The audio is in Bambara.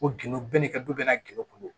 Ko gindo bɛɛ n'i ka du bɛna gendo kun don